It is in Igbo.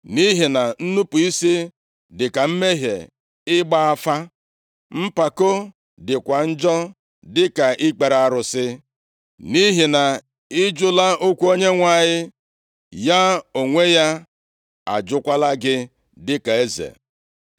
Nʼihi na nnupu isi dịka mmehie ịgba afa, mpako dịkwa njọ dịka ikpere arụsị. Nʼihi na ị jụla okwu Onyenwe anyị ya onwe ya ajụkwala gị dịka eze.”